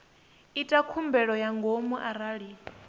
ita khumbelo ya ngomu arali